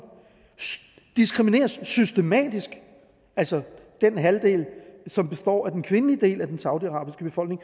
diskrimineres systematisk altså den halvdel som består af den kvindelige del af den saudiarabiske befolkning